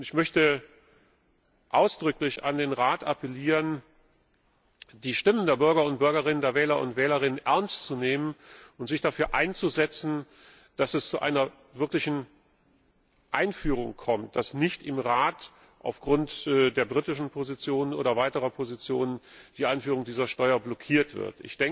Ich möchte ausdrücklich an den Rat appellieren, die Stimmen der Bürger und Bürgerinnen, der Wähler und Wählerinnen ernst zu nehmen und sich dafür einzusetzen, dass es zu einer wirklichen Einführung kommt, dass nicht im Rat aufgrund der britischen Position oder weiterer Positionen die Einführung dieser Steuer blockiert wird.